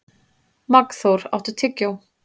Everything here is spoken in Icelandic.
Magnþór, áttu tyggjó?